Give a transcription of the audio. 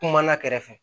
Kuma na kɛrɛfɛ